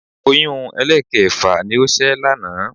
Oyún ẹlẹ́ẹ̀kẹfà ni ó ṣẹ́ lánàá